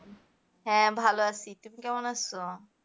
হ্যাঁ, ভালো আছি. তুমি কেমন আছো?